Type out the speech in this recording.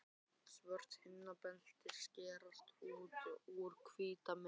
Svört hamrabeltin skerast út úr hvítri myndinni.